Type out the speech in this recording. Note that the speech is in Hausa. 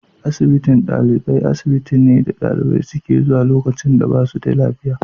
Asibitin ɗalibai, asibitin ne dalibai suke zuwa lokacin da ba su da lafiya.